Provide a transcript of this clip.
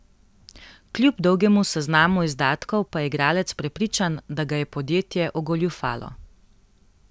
Kljub dolgemu seznamu izdatkov pa je igralec prepričan, da ga je podjetje ogoljufalo.